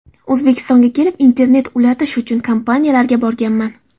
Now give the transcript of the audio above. O‘zbekistonga kelib, internet ulatish uchun kompaniyalarga borganman.